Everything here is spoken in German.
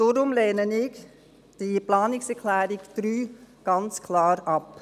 Deshalb lehne ich die Planungserklärung 3 ganz klar ab.